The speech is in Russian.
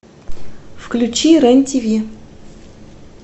включи рен тв